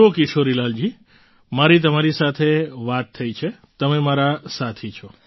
જુઓ કિશોરીલાલજી મારી તમારી સાથે વાત થઈ છે તમે મારા સાથી છો